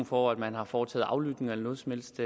for at man har foretaget aflytninger eller noget som helst